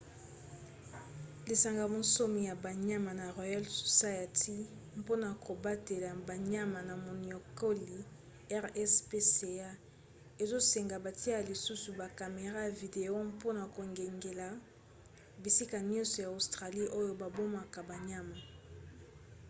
lisanga bonsomi ya banyama na royal society mpona kobatela banyama na moniokoli rspca ezosenga batia lisusu ba camera ya video mpona kokengela bisika nyonso ya australie oyo babomaka banyama